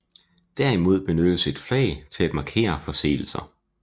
Derimod benyttes et flag til at markere forseelser